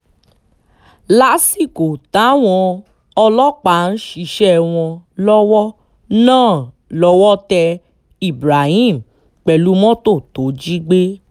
lásìkò táwọn ọlọ́pàá ń ṣiṣẹ́ wọn lọ́wọ́ náà lọ́wọ́ tẹ ibrahim pẹ̀lú mọ́tò tó jí gbé